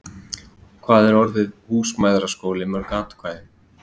Hvað er orðið - Húsmæðraskóli - mörg atkvæði?